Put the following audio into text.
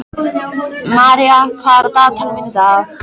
Maía, hvað er á dagatalinu mínu í dag?